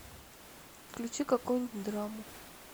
включи какую нибудь драму